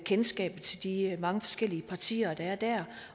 kendskab til de mange forskellige partier der er der